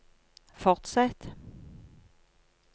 fortsett